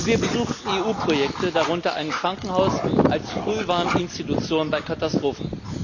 Und wir besuchten EU Projekte, darunter ein Krankenhaus als Frühwarninstitution bei Katastrophen.